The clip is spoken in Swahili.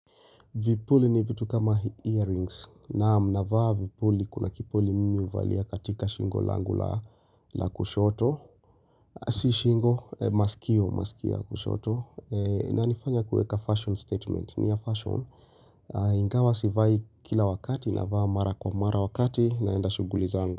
Vipuli ni vitu kama earrings naam navaa vipuli kuna kipuli mimi uvalia katika shingo langu la kushoto Aah si shingo maskio maskio ya kushoto na inanifanya kueka fashion statement ni ya fashion Ingawa sivai kila wakati navaa mara kwa mara wakati naenda shughuli zangu.